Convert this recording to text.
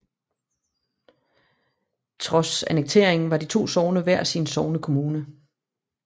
Trods annekteringen var de to sogne hver sin sognekommune